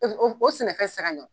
O o o sɛnɛfɛn ti se ka ɲɔ.